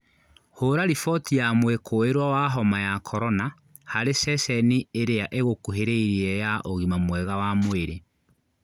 Hũra riboti ya mwĩkũĩrwo wa homa ya korona harĩ ceceni iria igũkuhĩrĩirie ya ũgima mwega wa mwĩrĩ